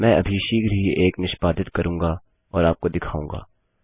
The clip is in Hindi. मैं अभी शीघ्र ही एक निष्पादित करूँगा और आपको दिखाऊँगा